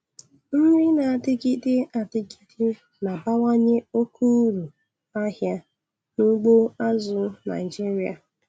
Nri na-adịgide adịgide na-abawanye oke uru ahịa n'ugbo azụ̀ Naịjiria.